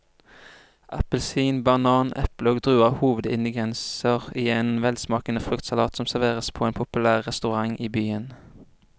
Appelsin, banan, eple og druer er hovedingredienser i en velsmakende fruktsalat som serveres på en populær restaurant i byen.